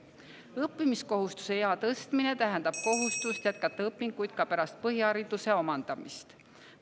Õppimiskohustuse ea tõstmine tähendab kohustust jätkata õpinguid ka pärast põhihariduse omandamist.